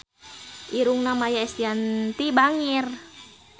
Irungna Maia Estianty bangir